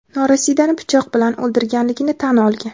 norasidani pichoq bilan o‘ldirganligini tan olgan.